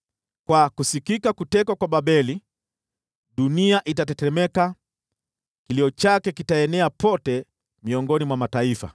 Kwa sauti ya kutekwa kwa Babeli, dunia itatetemeka; kilio chake kitasikika pote miongoni mwa mataifa.